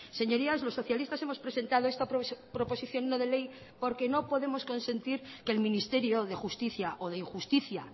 señorías los socialistas hemos presentado esta proposición no de ley porque no podemos consentir que el ministerio de justicia o de injusticia